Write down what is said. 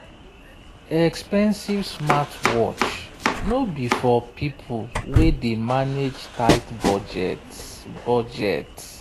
expensive smartwatch no be for people wey dey manage tight budget. budget.